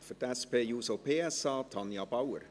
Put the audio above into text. Für die SP-JUSO-PSA, Tanja Bauer.